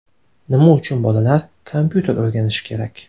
Nima uchun bolalar kompyuter o‘rganishi kerak?.